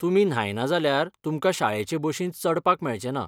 तुमी न्हायना जाल्यार तुमकां शाळेचे बशींत चडपाक मेळचेंना.